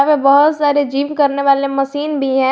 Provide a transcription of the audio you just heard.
बहुत सारे जीम करने वाले मशीन भी है।